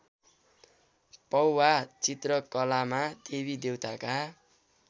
पौभा चित्रकलामा देवीदेवताका